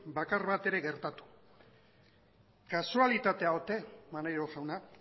bakar bat ere ez gertatu kasualitatea ote maneiro jauna